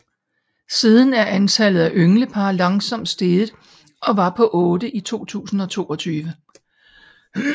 Siden er antallet af ynglepar langsomt steget og var på otte i 2022